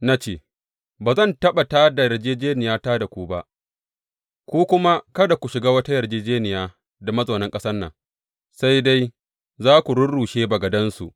Na ce, Ba zan taɓa tā da yarjejjeniyata da ku ba, ku kuma kada ku shiga wata yarjejjeniya da mazaunan ƙasan nan, sai dai za ku rurrushe bagadansu.’